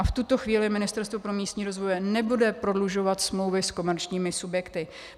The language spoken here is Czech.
A v tuto chvíli Ministerstvo pro místní rozvoj nebude prodlužovat smlouvy s komerčními subjekty.